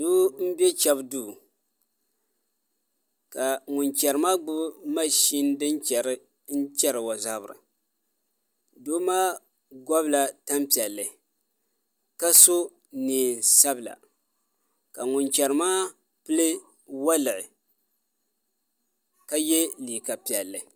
Doo n bɛ chɛbu duu ka ŋun chɛri maa gbubi mashin din chɛri chɛri o zabiri doo maa gobila tanpiɛlli ka so neen sabila ka ŋun chɛri maa pili woliɣi ka yɛ liiga piɛlli